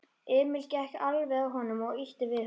Emil gekk alveg að honum og ýtti við honum.